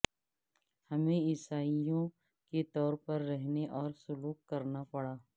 ہمیں عیسائوں کے طور پر رہنے اور سلوک کرنا پڑا